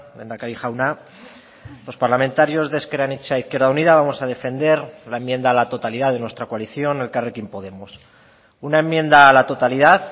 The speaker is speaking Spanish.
lehendakari jauna los parlamentarios de ezker anitza izquierda unida vamos a defender la enmienda a la totalidad de nuestra coalición elkarrekin podemos una enmienda a la totalidad